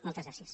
moltes gràcies